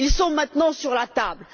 Ils sont maintenant sur la table.